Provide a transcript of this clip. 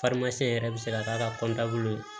yɛrɛ bɛ se ka k'a ka bolo